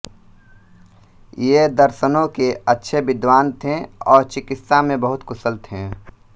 ये दर्शनों के अच्छे विद्वान थे और चिकित्सा में बहुत कुशल थे